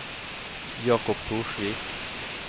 Jakob Torsvik